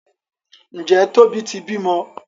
Njé Tóbi tí bímọ?